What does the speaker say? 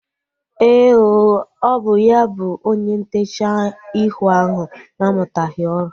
Éè ooo, ọ bụ ya bụ onye ntechaa ihu ahu na-amutaghi ọrụ